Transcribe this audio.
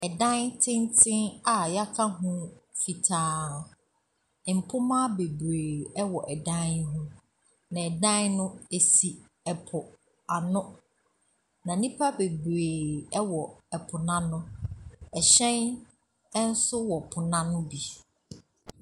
Ɛdan tenten a wɔaka ho fitaa. Mpoma bebree wɔ dan no ho, na dan no, ɛsi po ano, na nnipa bebree wɔ po no ano. Ɛhyɛn nso wɔ po no ano bi.